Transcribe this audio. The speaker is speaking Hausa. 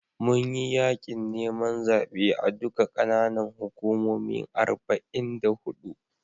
Mun yi yaƙin neman zaɓe a duka ƙananan hukumomin arba'in da huɗu.